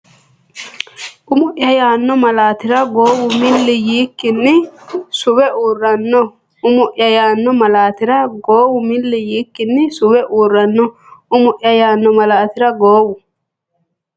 Umo’ya yaanno malaatira goowu milli yiikkinni suwe uurranno Umo’ya yaanno malaatira goowu milli yiikkinni suwe uurranno Umo’ya yaanno malaatira goowu.